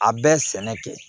A bɛɛ sɛnɛ ten